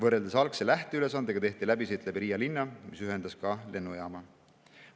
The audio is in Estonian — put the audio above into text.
Erinevalt algsest, lähteülesandest, tehti läbisõit läbi Riia linna, mis ühendas sellega ka lennujaama.